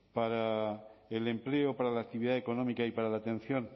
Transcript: para el empleo para la actividad económica y para la atención